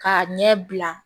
K'a ɲɛ bila